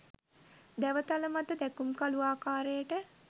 දැව තල මත දැකුම්කලූ ආකාරයට